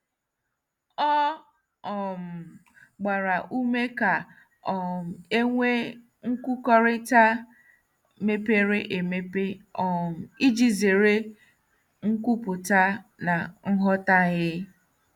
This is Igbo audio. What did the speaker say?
Ọ um gbara ume ka um e nwee nkwukọrịta mepere emepe um iji zere nkwupụta na nghọtahie.